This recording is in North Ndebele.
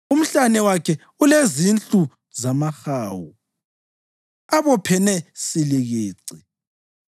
Umhlane wakhe ulezinhlu zamahawu abophene silikici;